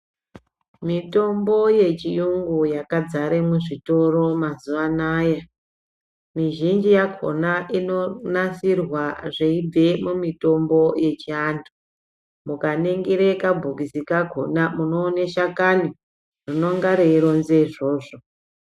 Mitombo yechiyungu yakadzara muzvitoro mazuwa anaya, mizhinji yakhona inonasirwa zveibve mumutombo yechiantu. Mukaningira kabhokisi kakhona munoona shakani rinonga reironza izvozvo.